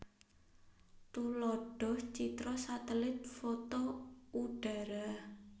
Tuladhah citra satelit foto udhara